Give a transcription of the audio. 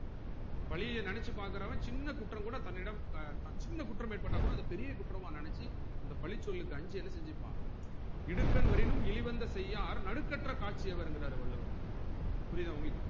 பழிய நெனச்சு பாக்குறவன் சின்ன குற்றம் கூட தன்னிடம் சின்ன குற்றம் ஏற்பட்டா கூட அத பெரிய குற்றமா நெனச்சி அந்த பழி சொல்லுக்கு அஞ்சி என்ன செஞ்சிருப்பா இடுக்கண் வரினும் இழிவந்த செய்யார் நடுக்கற்ற காட்சி அவருங்குறாரு வள்ளுவர் புரிதா உங்களுக்கு